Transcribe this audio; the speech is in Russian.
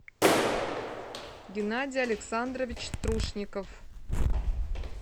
геннадий александрович трушников